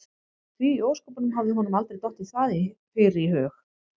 Því í ósköpunum hafði honum aldrei dottið það fyrr í hug?